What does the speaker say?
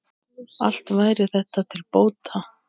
Allt væri þetta til bóta.